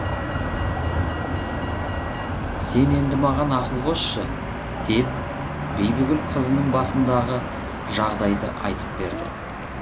сен енді маған ақыл қосшы деп бибігүл қызының басындаға жағдайды айтып берді